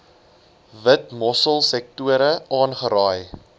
witmossel sektore aangeraai